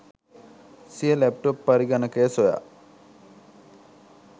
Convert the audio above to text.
සිය ලැප්ටොප් පරගණකය සොයා